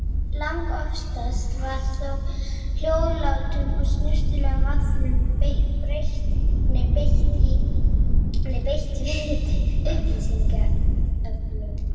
Langoftast var þó hljóðlátum og snyrtilegum aðferðum beitt við upplýsingaöflun.